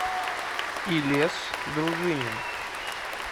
илес дружинин